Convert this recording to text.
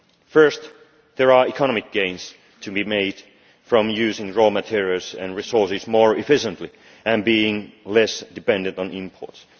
First, there are economic gains to be made from using raw materials and resources more efficiently and being less dependent on imports.